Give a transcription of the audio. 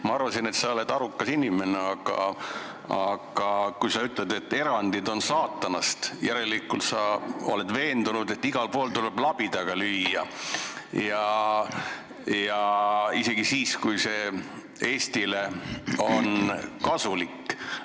Ma arvasin, et sa oled arukas inimene, aga kui sa ütled, et erandid on saatanast, siis järelikult oled sa veendunud, et igal pool tuleb labidaga lüüa, isegi siis, kui see erand on Eestile kasulik.